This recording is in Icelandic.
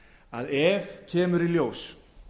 að ef kemur í ljós